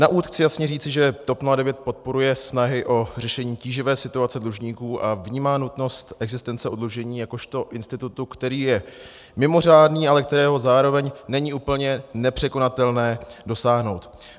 Na úvod chci jasně říci, že TOP 09 podporuje snahy o řešení tíživé situace dlužníků a vnímá nutnost existence oddlužení jakožto institutu, který je mimořádný, ale kterého zároveň není úplně nepřekonatelné dosáhnout.